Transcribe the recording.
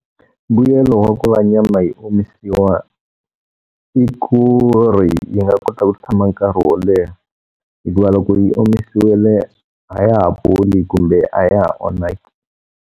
Mbuyelo wa ku va nyama yo omisiwa, i ku ri yi nga kota ku tshama nkarhi wo leha. Hikuva loko yi omisiwile a ya ha boli kumbe a ya ha onhaki.